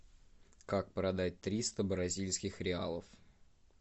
как продать триста бразильских реалов